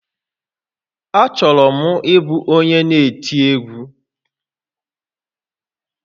Achọrọ m ịbụ onye n'eti egwu